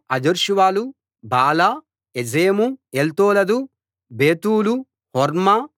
హజర్షువలు బాలా ఎజెము ఎల్తోలదు బేతూలు హోర్మా